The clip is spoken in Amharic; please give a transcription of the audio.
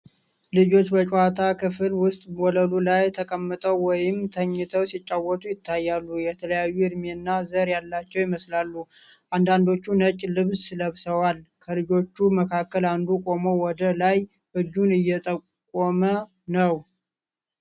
ልጆች በጨዋታ ክፍል ውስጥ ወለሉ ላይ ተቀምጠው ወይም ተኝተው ሲጫወቱ ይታያሉ። የተለያዩ ዕድሜና ዘር ያላቸው ይመስላሉ፣ አንዳንዶቹ ነጭ ልብስ ለብሰዋል። ከልጆቹ መካከል አንዱ ቆሞ ወደ ላይ እጁን እየጠቆመ ነው።